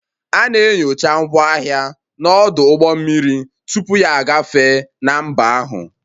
A na-enyocha ngwaahịa n'ọdụ ụgbọ mmiri tupu ya agafee na mba ahụ